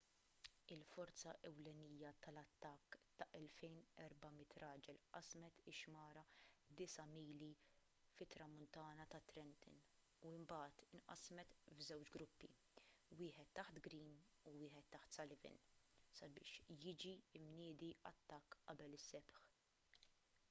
il-forza ewlenija tal-attakk ta' 2,400 raġel qasmet ix-xmara disa' mili fit-tramuntana ta' trenton u mbagħad inqasmet f'żewġ gruppi wieħed taħt greene u wieħed taħt sullivan sabiex jiġi mniedi attakk qabel is-sebħ